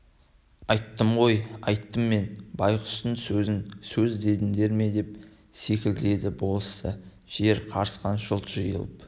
айттым ғой айттым мен байғұстың сөзін сөз дедіңдер ме деп селкілдеді болысты жер қайысқан жұрт жиылып